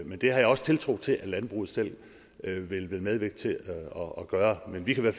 men det har jeg også tiltro til at landbruget selv vil medvirke til at gøre men vi kan i